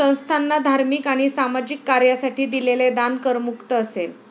संस्थाना धार्मिक आणि सामाजिक कार्यासाठी दिलेले दान करमुक्त असेल.